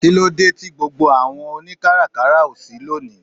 Kílódé tí gbogbo àwọn oni káràkárà ó ṣí lónìí?